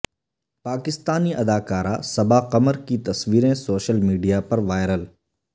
پاکستانی اداکارہ صبا قمر کی تصوریں سوشل میڈیا پر وائرل